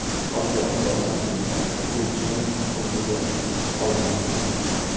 Qolgan xulosani esa o‘quvchining o‘ziga qoldiramiz.